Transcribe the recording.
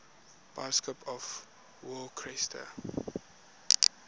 bishops of worcester